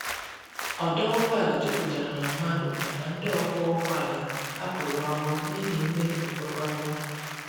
Ọdo ụgbọ ala juputara na madu maka ndi ọkwọ ụgbọ ala hapụrụ ọrụ n'ihi mmebi nkwekorita